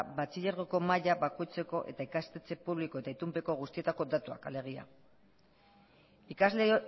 batxilergoko maila bakoitzeko eta ikastetxe publiko eta itunpeko guztietako datuak alegia ikasle